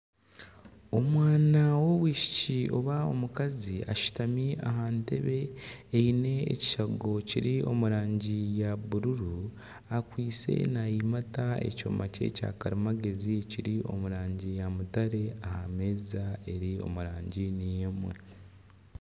Omwana w'omwishiki oba omukazi ashutami aha ntebe eine ekishengo kiri omu rangi ya bururu akwaitse nayimata ekyoma kye kyakarimagyezi ekiri omu rangi ya mutare aha meeza eri omu rangi niyo emwe.